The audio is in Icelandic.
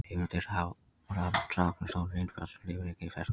Heimildir Hafrannsóknarstofnun Reynir Bjarnason, Lífríkið í fersku vatni.